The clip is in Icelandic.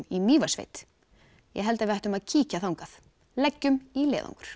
í Mývatnssveit ég held við ættum að kíkja þangað leggjum í leiðangur